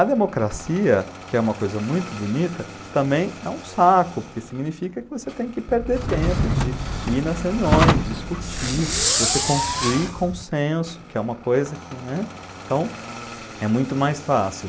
A democracia, que é uma coisa muito bonita, também é um saco, porque significa que você tem que perder tempo de ir nas reuniões, discutir, você construir consenso, que é uma coisa que, né? Então, é muito mais fácil.